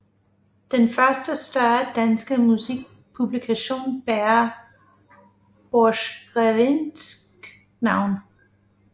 Den første større danske musikpublikation bærer Borchgrevincks navn